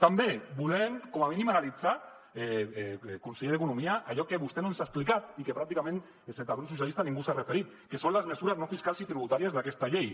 també volem com a mínim analitzar conseller d’economia allò que vostè no ens ha explicat i a què pràcticament excepte el grup socialistes ningú s’hi ha referit què són les mesures no fiscals i tributàries d’aquesta llei